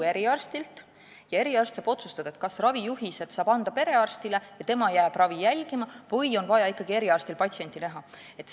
Eriarst saab otsustada, kas ta saab anda ravijuhised perearstile ja tema jääb ravi jälgima või on tal ikkagi vaja patsienti näha.